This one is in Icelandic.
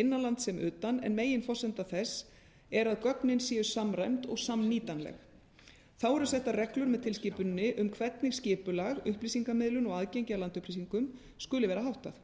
innanlands sem utan en meginforsenda þessa er að gögnin séu samræmd og samnýtanleg þá eru settar reglur með tilskipuninni um hvernig skipulag upplýsingamiðlun og aðgengi að landupplýsingum skuli vera háttað